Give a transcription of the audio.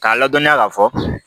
K'a ladɔniya k'a fɔ